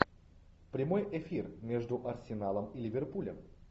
прямой эфир между арсеналом и ливерпулем